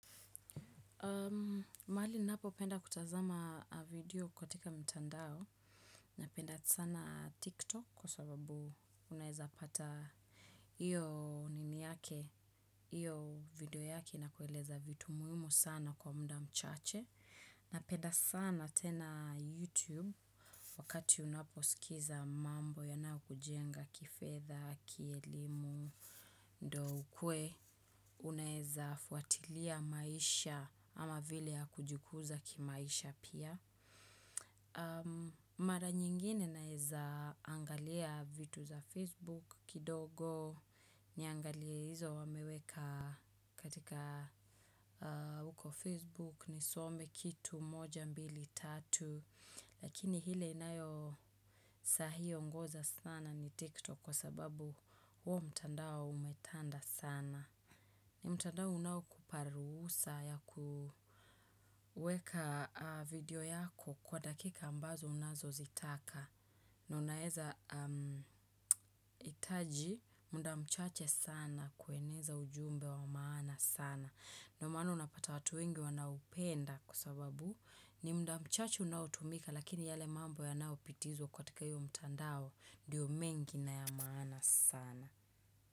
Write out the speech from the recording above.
Mahali ninapopenda kutazama video katika mtandao, napenda sana TikTok kwa sababu unaeza pata iyo nini yake, iyo video yake inakueleza vitu muhimu sana kwa mda mchache. Napeda sana tena YouTube wakati unaposikiza mambo yanayokujenga kifedha, kielimu, ndo ukue unaeza fuatilia maisha ama vile ya kujikuza kimaisha pia. Mara nyingine naeza angalia vitu za Facebook kidogo niangalie hizo wameweka katika uko Facebook nisome kitu moja mbili tatu. Lakini hile inayo sahii ongoza sana ni TikTok kwa sababu huo mtandao umetanda sana. Ni mtandao unaokupa ruhusa ya kuweka video yako kwa dakika ambazo unazozitaka. Na unaeza itaji mda mchache sana kueneza ujumbe wa maana sana. Ndio maana unapata watu wengi wanaupenda kwa sababu ni mda mchache unaotumika lakini yale mambo yanaopitizwa kwatika io mtandao diyo mengi na ya maana sana.